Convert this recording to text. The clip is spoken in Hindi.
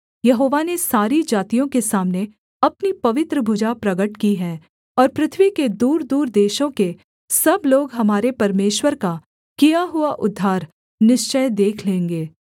यहोवा ने सारी जातियों के सामने अपनी पवित्र भुजा प्रगट की है और पृथ्वी के दूरदूर देशों के सब लोग हमारे परमेश्वर का किया हुआ उद्धार निश्चय देख लेंगे